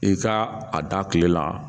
I ka a da kile la